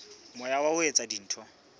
moya wa ho etsa dintho